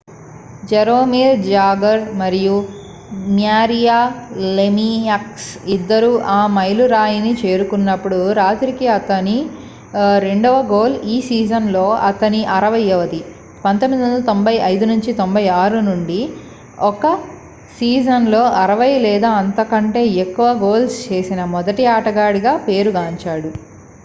Jaromir Jagr మరియు Mario Lemieux ఇద్దరూ ఆ మైలురాయిని చేరుకున్నప్పుడు రాత్రికి అతని రెండవ గోల్ ఈ సీజన్లో అతని 60వది 1995-96 నుండి ఒక సీజన్లో 60 లేదా అంతకంటే ఎక్కువ గోల్స్ చేసిన మొదటి ఆటగాడిగా పేరు గాంచాడు